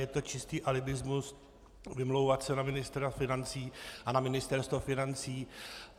Je to čistý alibismus vymlouvat se na ministra financí a na Ministerstvo financí.